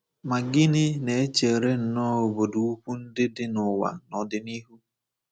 Ma gịnị na-echere nnọọ obodo ukwu ndị dị n’ụwa n’ọdịnihu?